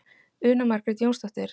Una Margrét Jónsdóttir.